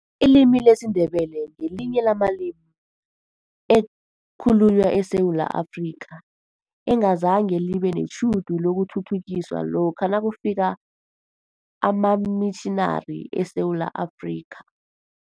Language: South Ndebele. Ilimi lesiNdebele ngelinye lamalimi elikhulunywa eSewula Afrika, engazange libe netjhudu lokuthuthukiswa lokha nakufika amamitjhinari eSewula Afrika.